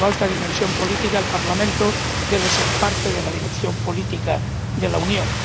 Por su alta dimensión política, el Parlamento debe ser parte de la dirección política de la Unión.